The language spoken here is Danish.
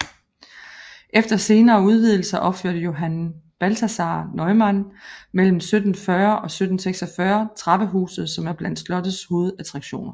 Efter senere udvidelser opførte Johann Balthasaar Neumann mellem 1740 og 1746 trappehuset som er blandt slottets hovedattraktioner